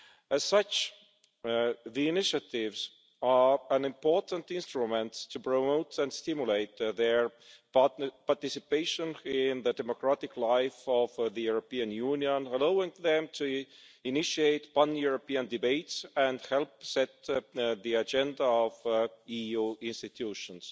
As such, the initiatives are an important instrument to promote and stimulate their participation in the democratic life of the European Union, allowing them to initiate European debates and help set the agenda of EU institutions.